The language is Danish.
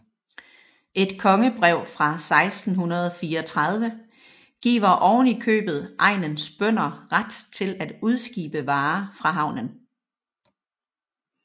Et kongebrev fra 1634 giver oven i købet egnens bønder ret til at udskibe varer fra havnen